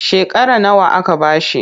Shekara nawa aka ba shi?